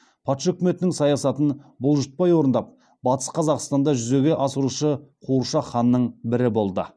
патша өкіметінің саясатын бұлжытпай орындап батыс қазақстанда жүзеге асырушы қуыршақ ханның бірі болады